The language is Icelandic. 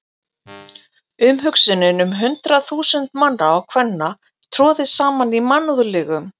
Umhugsunin um hundruð þúsunda manna og kvenna troðið saman í mannúðlegum